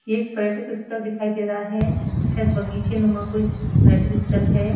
एक पर्यटक स्थल दिखाई दे रहा है। शायद बगीचेनुमा कोई पर्यटक स्थल है।